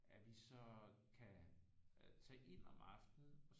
At vi så kan tage ind om aftenen